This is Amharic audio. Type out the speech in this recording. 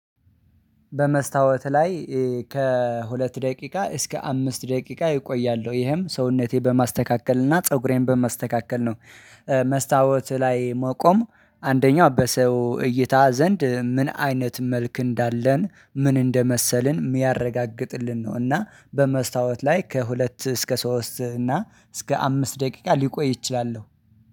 በመስታወት ላይ ከሁለት ደቂቃ እስከ አምስት ደቂቃ እቆያለሁ ይሄም ሰውነቴ በማስተካከል እና ፀጉሬን በማስተካከል ነው። መስታወት ላይ መቆም አንደኛው በሰው እይታ ዘንድ ምን አይነት መልክ እንዳለን ምን እንደመሰልን የሚያረጋግጥልን ነው። እና በመስታወት ላይ ከሁለት እስከ ሶስት እና እስከ አምስት ደቂቃ ሊቆይ እችላለሁ